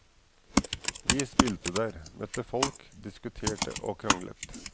Vi spilte der, møtte folk, diskuterte og kranglet.